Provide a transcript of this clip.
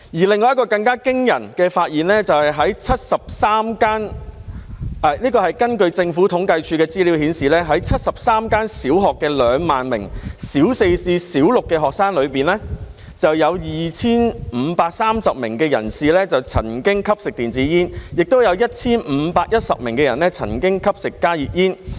另一項更驚人的發現，就是在73間——這是根據政府統計處的資料顯示——在73間小學的2萬名小四至小六的學生中，有 2,530 名曾經吸食電子煙 ，1,510 名曾經吸食加熱煙。